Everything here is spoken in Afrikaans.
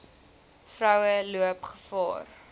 vroue loop gevaar